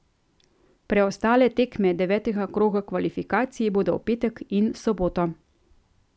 Preostale tekme devetega kroga kvalifikacij bodo v petek in soboto.